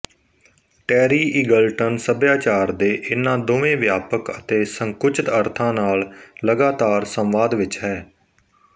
ਟੈਰੀ Eagleton ਸਭਿਆਚਾਰ ਦੇ ਇਹਨਾਂ ਦੋਵੇਂ ਵਿਆਪਕ ਅਤੇ ਸੰਕੁਚਿਤ ਅਰਥਾਂ ਨਾਲ ਲਗਾਤਾਰ ਸੰਵਾਦ ਵਿਚ ਹੈ